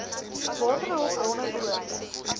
waterhulp bronne behoorlik